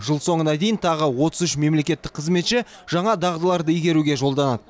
жыл соңына дейін тағы отыз үш мемлекеттік қызметші жаңа дағдыларды игеруге жолданады